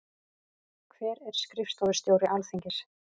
Hver er skrifstofustjóri Alþingis?